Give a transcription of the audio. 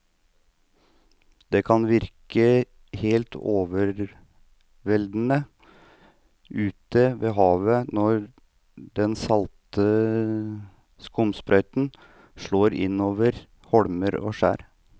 Det kan virke helt overveldende ute ved havet når den salte skumsprøyten slår innover holmer og skjær.